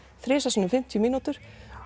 þrisvar sinnum fimmtíu mínútur